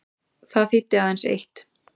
Það þýddi aðeins eitt.